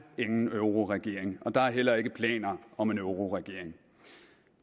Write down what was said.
ingen euroregering og der er heller ikke planer om en euroregering